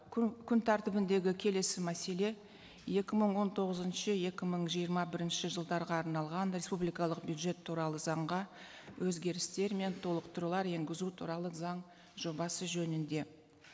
күн тәртібіндегі келесі мәселе екі мың он тоғызыншы екі мың жиырма бірінші жылдарға арналған республикалық бюджет туралы заңға өзгерістер мен толықтырулар енгізу туралы заң жобасы жөнінде